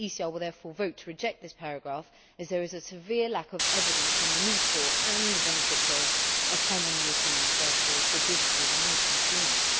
The ECR will vote to reject this paragraph as there is a severe lack of evidence on the need for or benefits of a common European sales law for businesses and consumers.